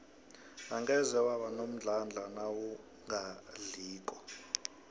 angeze waba nomdlandla nawungadliko